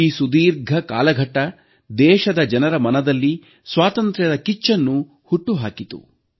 ಈ ಸುದೀರ್ಘ ಕಾಲಘಟ್ಟ ದೇಶದ ಜನರ ಮನದಲ್ಲಿ ಸ್ವಾತಂತ್ರ್ಯದ ಕಿಚ್ಚನ್ನು ಹುಟ್ಟುಹಾಕಿತು